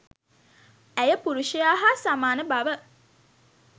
ඇය පුරුෂයා හා සමාන බව